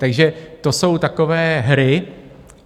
Takže to jsou takové hry.